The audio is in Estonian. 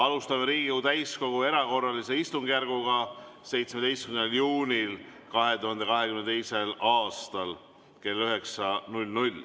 Alustame Riigikogu täiskogu erakorralist istungjärku 17. juunil 2022. aastal kell 9.